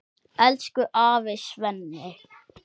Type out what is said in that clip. Elsku afi Svenni.